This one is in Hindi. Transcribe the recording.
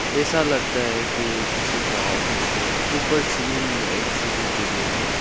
ऐसा लगता है कि ये किसी का ऑफिस है ऊपर सीलिंग में एक सी_सी_टी_वी है।